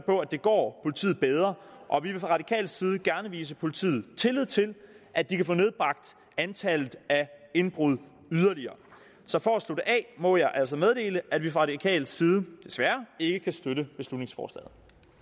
på at det går politiet bedre og vi vil fra radikal side gerne vise politiet tillid til at de kan få nedbragt antallet af indbrud yderligere så for at slutte af må jeg altså meddele at vi fra radikal side desværre ikke kan støtte beslutningsforslaget